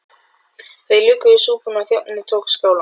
Þeir luku við súpuna og þjónninn tók skálarnar.